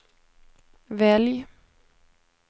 välj